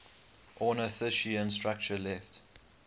ornithischian structure left